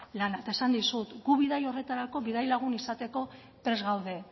lana eta esan dizut gu bidai horretarako bidaia lagun izateko prest gaude